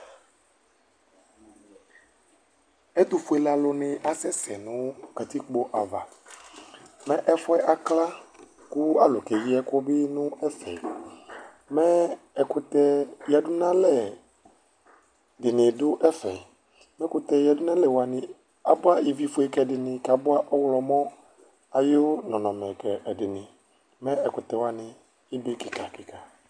Ɛtʋfuele alu ni asɛsɛ nʋ katikpo ava Mɛ ɛfʋɛ akla, kʋ alu keyi ɛkʋ bɩ nʋ ɛfɛ Mɛ ɛkʋtɛ yǝdunalɛ dɩnɩ du ɛfɛ Ɛkʋtɛ yadunalɛ wani abua ivifue ka ɛdɩnɩ, kʋ abua ɔɣlɔmɔ ayʋ nɔnɔmɛ ka ɛdɩnɩ Mɛ ɛkʋtɛ wani ebe kika kika